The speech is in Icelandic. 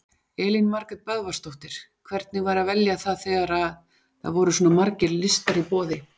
Elín Margrét Böðvarsdóttir: Hvernig var að velja þegar það voru svona margir listar í boði?